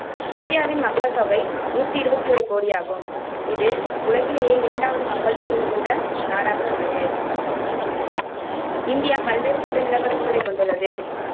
இந்தியாவின் மக்கள்தொகை நூத்தி இருவத்தி ஓரு கோடியாகும் இது உலகிலேயே இரண்டாவது மக்கள்தொகை மிகுந்த நாடாக உள்ளது. இந்தியா பலவேறுபட்ட நிலப்பரப்புகளைக் கொண்டுள்ளது.